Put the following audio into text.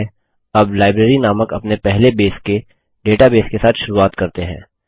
ठीक है अब लाइब्रेरी नामक अपने पहले बेस के डेटाबेस के साथ शुरूआत करते हैं